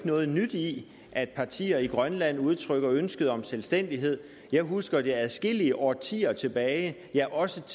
noget nyt i at partier i grønland udtrykker ønske om selvstændighed jeg husker det fra adskillige årtier tilbage ja også